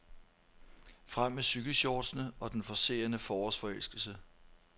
Frem med cykelshortsene og den forcerede forårsforelskelse.